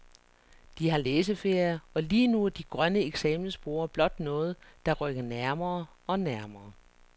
De har læseferie, og lige nu er de grønne eksamensborde blot noget, der rykker nærmere og nærmere.